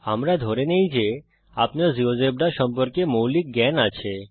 আমরা ধরে নেই যে আপনার জীয়োজেব্রা সম্পর্কে মৌলিক জ্ঞান আছে